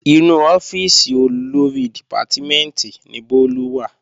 Inú ọ́fíìsì Olórí dìpátímẹ̀ntì ni Bólú wà